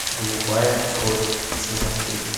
голубая кровь сезон три